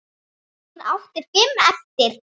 Hún átti fimm eftir.